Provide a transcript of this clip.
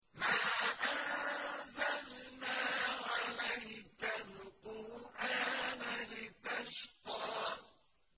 مَا أَنزَلْنَا عَلَيْكَ الْقُرْآنَ لِتَشْقَىٰ